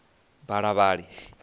balavhali